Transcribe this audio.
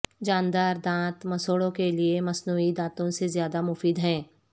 جاندار دانت مسوڑوں کے لئے مصنوعی دانتوں سے زیادہ مفید ہیں